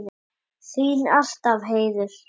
Þín alltaf, Heiður.